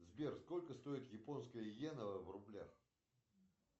сбер сколько стоит японская йена в рублях